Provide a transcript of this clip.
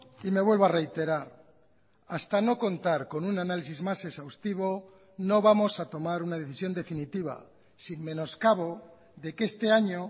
y me vuelvo a reiterar hasta no contar con un análisis más exhaustivo no vamos a tomar una decisión definitiva sin menoscabo de que este año